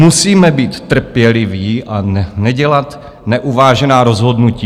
Musíme být trpěliví a nedělat neuvážená rozhodnutí."